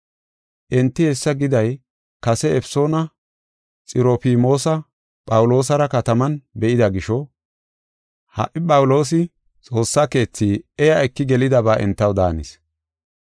Enti hessa giday kase Efesoona Xirofmoosa Phawuloosara kataman be7ida gisho ha77i Phawuloosi Xoossa keethi iya eki gelidaba entaw daanis.